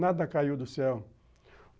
Nada caiu do céu.